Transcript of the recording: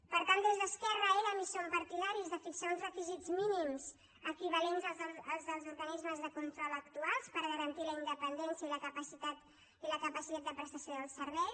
per tant des d’esquerra érem i som partidaris de fixar uns requisits mínims equivalents als dels organismes de control actuals per garantir la independència i la capacitat de prestació del servei